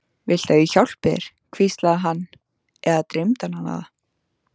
Viltu ég hjálpi þér, hvíslaði hann- eða dreymdi hana það?